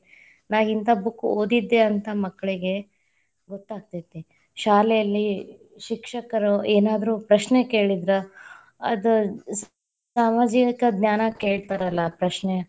ನಾ ಇಂತಾ book ಓದಿದ್ದೆ ಅಂತಾ, ಮಕ್ಕಳಗೆ ಗೊತ್ತಾಗತೇತಿ, ಶಾಲೆಯಲ್ಲಿ ಶಿಕ್ಷಕರು ಏನಾದ್ರು ಪ್ರಶ್ನೆ ಕೇಳಿದ್ರ, ಅದ್‌ ಸಾಮಾಜಿಕ ಜ್ಞಾನ ಕೇಳ್ತಾರಲ್ಲಾ ಪ್ರಶ್ನೆ.